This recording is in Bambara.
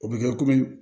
O bɛ kɛ komi